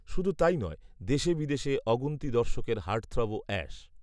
শুধু তাই নয় দেশে বিদেশে অগুন্তি দর্শকের হার্টথ্রবও অ্যাশ